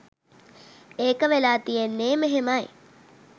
ඒක වෙලා තියෙන්නෙ මෙහෙමයි.